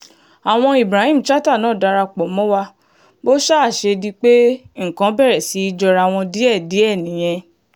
àwọn ibrahim chatta náà darapọ̀ mọ́ wa bó ṣáà ṣe di pé nǹkan bẹ̀rẹ̀ sí í jọra wọn díẹ̀díẹ̀ nìyẹn